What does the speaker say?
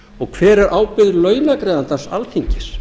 og hver er ábyrgð launagreiðandans alþingis